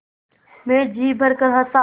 मैं जी भरकर हँसा